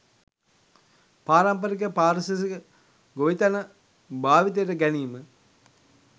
පාරමිපරික පාරිසරික ගොවිතැන භාවිතයට ගැනීම